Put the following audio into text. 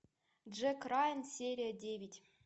джек райан серия девять